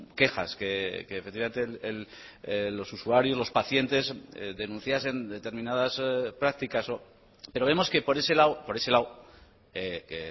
quejas que efectivamente los usuarios los pacientes denunciasen determinadas prácticas pero vemos que por ese lado por ese lado que